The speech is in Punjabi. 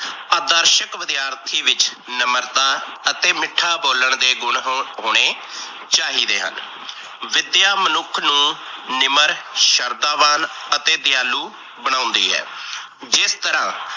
ਆਦਰਸ਼ਕ ਵਿਦਿਆਰਥੀ ਵਿੱਚ ਨਮਰਤਾ ਤੇ ਮਿੱਠਾ ਬੋਲਣ ਦੇ ਗੁਣ ਹੋਣੇ ਚਾਹੀਦੇ ਹਨ। ਵਿਦਿਆ ਮਨੁੱਖ ਨੂੰ ਨਿਮਰ ਸ਼ਰਦਾਵਾਨ ਅਤੇ ਦਿਆਲੂ ਬਣਾਉਦੀ ਹੈ। ਜਿਸ ਤਰਾਂ